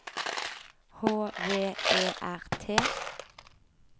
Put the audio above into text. H V E R T